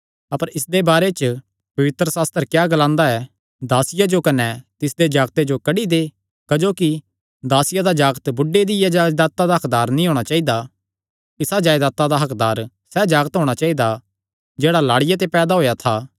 अपर इसदे बारे च पवित्रशास्त्र क्या ग्लांदा ऐ दासिया जो कने तिसदे जागते जो कड्डी दे क्जोकि दासिया दा जागत बुढ़े दिया जायदाता दा हक्कदार नीं होणा चाइदा इसा जायदाता दा हक्कदार सैह़ जागत होणा चाइदा जेह्ड़ा लाड़िया ते पैदा होएया था